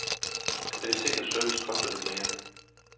Kvalitet og service koster lidt mere.